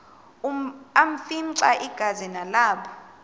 afimxa igazi nalapho